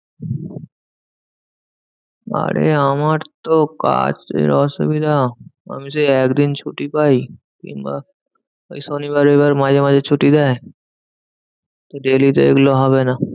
আরে আমার তো কাজের অসুবিধা। আমি সেই একদিন ছুটি পাই কিংবা এই শনিবার রবিবার মাঝে মাঝে ছুটি দেয়। daily তো এগুলো হবে না।